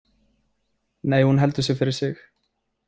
Nei, hún heldur sig fyrir sig.